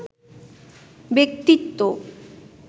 ব্যক্তিত্ব